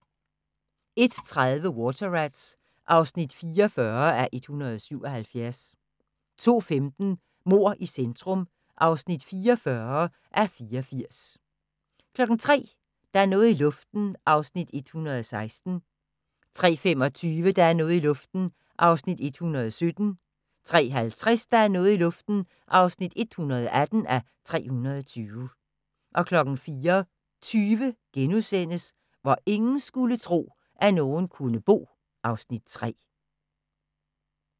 01:30: Water Rats (44:177) 02:15: Mord i centrum (44:84) 03:00: Der er noget i luften (116:320) 03:25: Der er noget i luften (117:320) 03:50: Der er noget i luften (118:320) 04:20: Hvor ingen skulle tro, at nogen kunne bo (Afs. 3)*